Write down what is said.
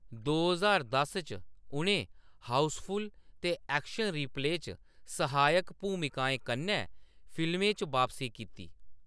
दो ज्हार दस च, उʼनें हाउसफुल ते एक्शन रिप्ले च सहायक भूमिकाएं कन्नै फिल्में च बापसी कीती।